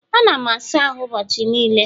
Ana m asa ahụ ụbọchị niile